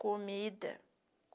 Comida.